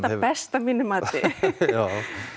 best að mínu mati já